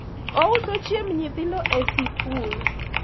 ouso chiemb nyithindo e sikul